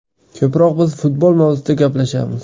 Ko‘proq biz futbol mavzusida gaplashamiz.